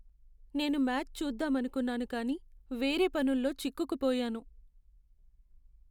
నేను మ్యాచ్ చూద్దామనుకున్నాను కానీ వేరే పనుల్లో చిక్కుకు పోయాను.